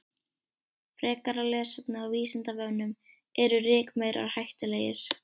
Frekara lesefni á Vísindavefnum: Eru rykmaurar hættulegir?